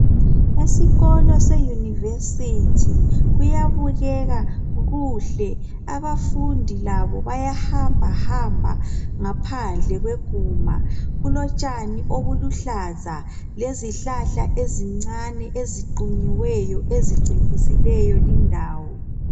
Esikolo seyunivesiti. Kuyabukeka kuhle. Abafundi labo bayahambahamba ngaphandle kweguma. Kulotshani obuluhlaza lezihlahla ezincane eziqunyiweyo ezicecisileyo lindawo.